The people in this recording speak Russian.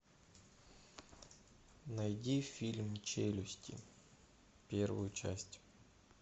найди фильм челюсти первую часть